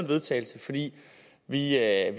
vedtagelse fordi vi er